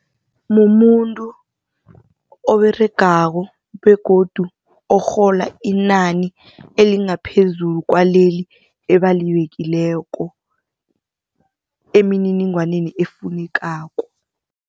Mumuntu oberegako begodu orhola inani elingaphezulu kwaleli ebalibekileko emininingwaneni efunekako.